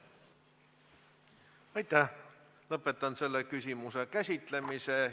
Lõpetan selle küsimuse käsitlemise.